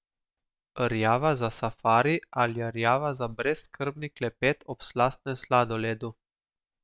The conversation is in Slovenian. Rjava za safari ali rjava za brezskrbni klepet ob slastnem sladoledu.